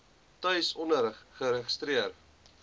tuis onderrig geregistreer